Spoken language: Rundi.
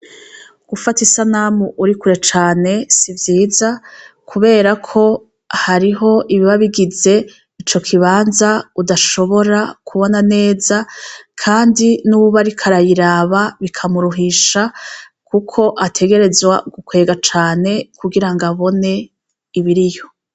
Gufata isanamu urikure cane si vyiza kubera ko hariho ibiba bigize ico kibanza udashobora kubona neza kandi nuwuba ariko arayiraba bika muruhisha kuko ategerezwa gukwega cane kugirango abone ibiriyo.